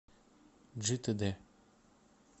джитэдэ